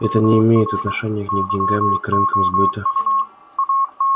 это не имеет отношения ни к деньгам ни к рынкам сбыта